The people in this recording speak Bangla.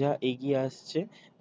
যা এগিয়ে আসছে